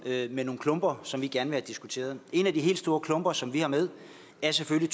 med nogle klumper som vi gerne vil have diskuteret en af de helt store klumper som vi har med er selvfølgelig